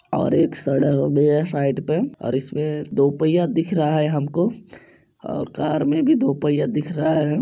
और एक सड़क भी है साइड पे और इसमें दो पहिया दिख रहा है हमको और कार मे भी दो पहिया दिख रहा है।